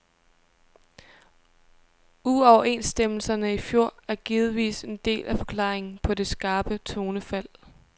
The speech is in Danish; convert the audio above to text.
Uoverenstemmelserne i fjor er givetvis en del af forklaringen på det skarpe tonefald.